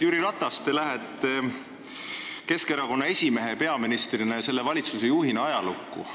Jüri Ratas, te lähete Keskerakonna esimehena, peaministrina ja selle valitsuse juhina ajalukku.